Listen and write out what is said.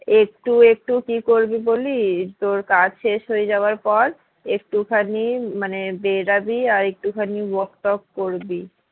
একটু একটু কি করবি বলি তোর কাজ শেষ হয়ে যাওয়ার পর একটুখানি মানে বেড়াবি আর একটুখানি walk টওয়াক করবি